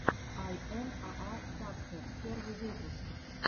ай эм аа дакхэд первый выпуск